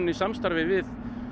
samstarfi við